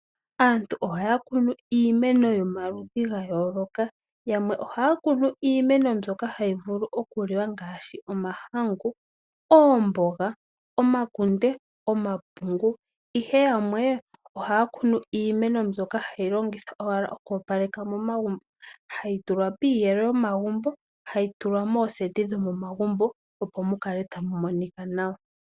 Aantu ohaya kunu iimeno yomaludhi ga yooloka, yamwe ohaya kunu iimeno mbyoka hayi vulu okuliwa mgaashi omahangu, oomboga, omakunde, omapungu, ihe yamwe ohaya kunu iimeno mbyoka hayi longithwa owala oku opaleka momagumbo. Hayi tulwa piiyelo yomagumbo, hayi tulwa mooseti dhomagumbo opo mu kale tamu monika nawa.